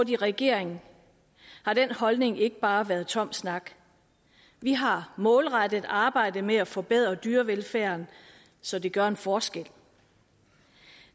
i regering har den holdning ikke bare været tom snak vi har målrettet arbejdet med at forbedre dyrevelfærden så det gør en forskel